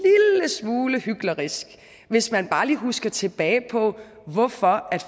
smule hyklerisk hvis man bare lige husker tilbage på hvorfor